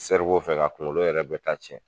Sɛriwo fɛ k'a kunkolo yɛrɛ bɛɛ ta cɛn